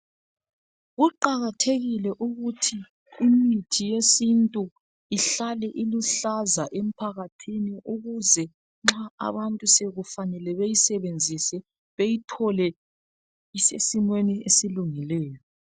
Kuqakathekile ukuthi imithi yesintu ihlale iluhlaza emphakathini ukuze nxa abantu sokufanele bayisebenzise beyithole isesimweni esilungileyo